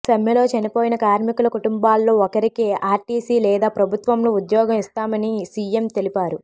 సమ్మెలో చనిపోయిన కార్మికుల కుటుంబాల్లో ఒకరికి ఆర్టీసి లేదా ప్రభుత్వంలో ఉద్యోగం ఇస్తామిన సిఎం తెలిపారు